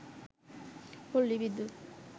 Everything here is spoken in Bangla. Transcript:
পল্লী বিদ্যুৎ